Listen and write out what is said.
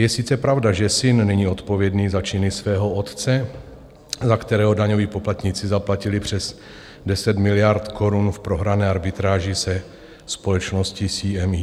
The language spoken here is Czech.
Je sice pravda, že syn není odpovědný za činy svého otce, za kterého daňoví poplatníci zaplatili přes 10 miliard korun v prohrané arbitráži se společností CME.